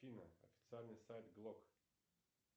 афина официальный сайт глок